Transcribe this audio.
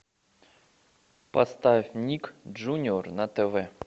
поставь ник джуниор на тв